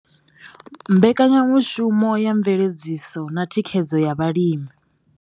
Mbekanyamushumo ya mveledziso na thikhedzo ya vhalimi.